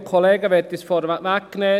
Ich möchte es vorwegnehmen: